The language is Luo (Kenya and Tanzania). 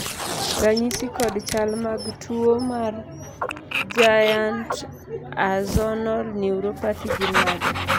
ranyisi kod chal mag tuo mar Giant axonal neuropathy gin mage?